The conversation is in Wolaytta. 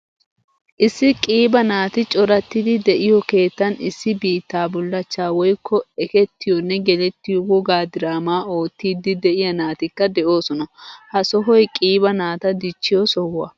Issi qiiba naati corattidi deiyo keettan issi biitta bullachcha woykko eketiyone geletiyo wogaa diraama oottidi deiya naatikka deosona. Ha sohoy qiiba naataa dichchiyo sohuwaa.